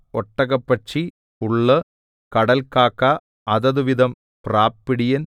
ഒട്ടകപക്ഷി പുള്ള് കടൽക്കാക്ക അതതുവിധം പ്രാപ്പിടിയൻ